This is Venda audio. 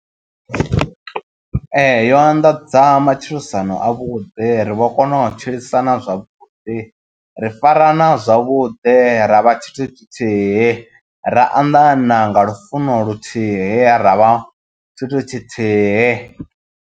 Ee, yo anḓadza matshilisano avhuḓi ri vho kona u tshilisana zwavhuḓi ri farana zwavhuḓi ra vha tshithu tshithihi, ra anḓana nga lufuno luthihi ra vha tshithu tshithihi.